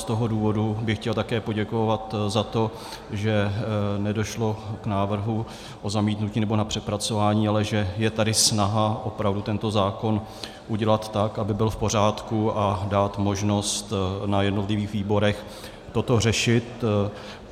Z toho důvodu bych chtěl také poděkovat za to, že nedošlo k návrhu na zamítnutí nebo na přepracování, ale že je tady snaha opravdu tento zákon udělat tak, aby byl v pořádku, a dát možnost na jednotlivých výborech toto řešit.